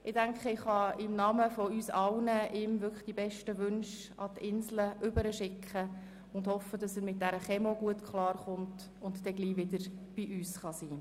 Ich denke, ich kann Stefan Berger in unser aller Namen die besten Wünsche zum Inselspital hinüberschicken, in der Hoffnung, er komme gut mit der Chemotherapie klar und könne bald wieder bei uns sein.